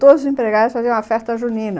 Todos os empregados faziam uma festa junina.